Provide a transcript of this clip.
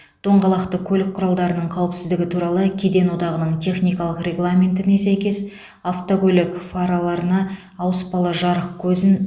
доңғалақты көлік құралдарының қауіпсіздігі туралы кеден одағының техникалық регламентіне сәйкес автокөлік фараларына ауыспалы жарық көзін